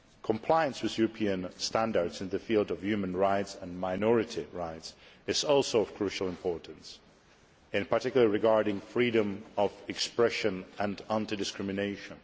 Compliance with European standards in the field of human rights and minority rights is also of crucial importance, in particular regarding freedom of expression and anti discrimination.